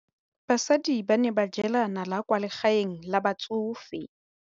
Basadi ba ne ba jela nala kwaa legaeng la batsofe.